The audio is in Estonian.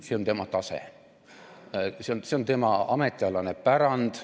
See on tema tase, see on tema ametialane pärand.